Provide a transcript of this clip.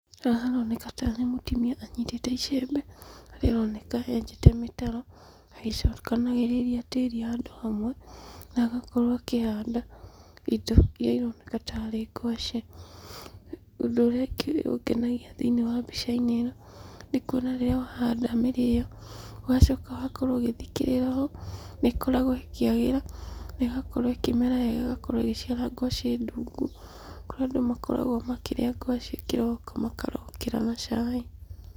Haha haroneka tarĩ mũtumia anyitĩte icembe, harĩa aroneka enjete mĩtaro, agĩcokanagĩrĩria tĩri handũ hamwe, na agakorwo akĩhanda indo irĩa ironeka ta rĩ ngwaci, ũndũ ũrĩa ũngĩ ũngenagia thĩiniĩ wa mbica-inĩ ĩno, nĩ kuona rĩrĩa wahanda mĩrĩo, ũgacoka ũgakorwo ũgĩthikĩrĩra ũũ, nĩ ĩkoragwo ĩkĩagĩra, na igakorwo ĩkĩmera wega ĩgakorwo igĩciara ngwacĩ ndungu, kũrĩ andũ makoragwo makĩrĩa ngwacĩ kĩroko, makarokera na cai.